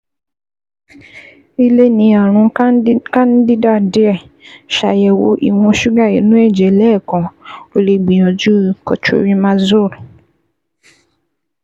I lè ní ààrùn candida díẹ̀, ṣàyẹ̀wò ìwọ̀n ṣúgà inú ẹ̀jẹ̀ lẹ́ẹ̀kan, o lè gbìyànjú cotrimazole